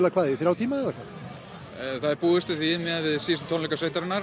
hvað þriggja tíma það er búist við því miðað við síðustu tónleika sveitarinnar